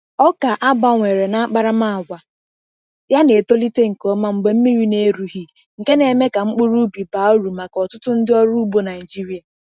Ọka a gbanwere n’akparamàgwà ya na-etolite nke ọma mgbe mmiri na-erughị, nke na-eme ka mkpụrụ ubi baa uru maka ọtụtụ ndị ọrụ ugbo Naịjirịa.